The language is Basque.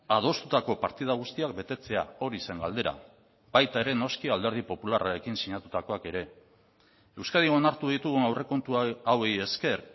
adostutako partida guztiak betetzea hori zen galdera baita ere noski alderdi popularrarekin sinatutakoak ere euskadin onartu ditugun aurrekontu hauei ezker